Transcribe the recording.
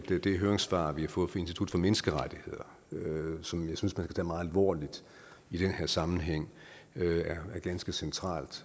det høringssvar vi har fået fra institut for menneskerettigheder som jeg synes man skal tage meget alvorligt i denne sammenhæng er ganske centralt